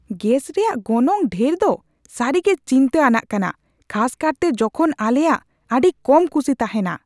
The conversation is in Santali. ᱜᱮᱥ ᱨᱮᱭᱟᱜ ᱜᱚᱱᱚᱝ ᱰᱷᱮᱨ ᱫᱚ ᱥᱟᱹᱨᱤᱜᱮ ᱪᱤᱱᱛᱟᱹ ᱟᱱᱟᱜ ᱠᱟᱱᱟ, ᱠᱷᱟᱥᱠᱟᱨᱛᱮ ᱡᱚᱠᱷᱚᱱ ᱟᱞᱮᱭᱟᱜ ᱟᱹᱰᱤ ᱠᱚᱢ ᱠᱩᱥᱤ ᱛᱟᱦᱮᱱᱟ ᱾